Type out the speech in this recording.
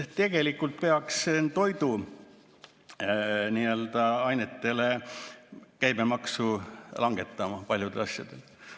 Tegelikult peaks käibemaksu langetama toiduainetel, ka paljudel asjadel.